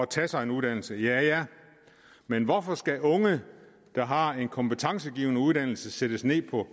til at tage en uddannelse men hvorfor skal unge der har en kompetencegivende uddannelse sættes ned på